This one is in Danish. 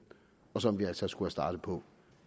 og som vi altså skulle være startet på